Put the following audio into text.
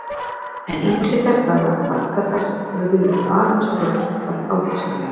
En ítrekað skal að margar þessar tölur eru aðeins rökstuddar ágiskanir.